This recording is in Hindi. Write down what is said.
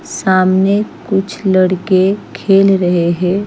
सामने कुछ लड़के खेल रहे है।